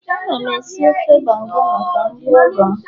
Ana m esi ofe banga maka ndị ọgọ m